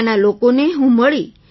ત્યાંના લોકોને હું મળી